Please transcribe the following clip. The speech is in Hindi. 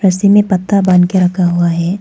उसी में पत्ता बांध के रखा हुआ है।